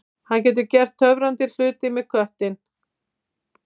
Hann getur gert töfrandi hluti með knöttinn.